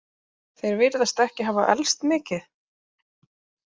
Þeir virðast ekki hafa elst mikið.